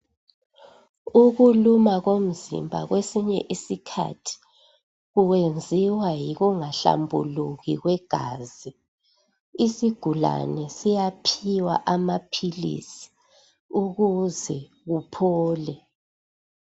Ukuluma komzimba kwesinye isikhathi kwenziwa yikungahlambuluki kwegazi . Isigulane siyaphiwa amaphilisi ukuze kuphole.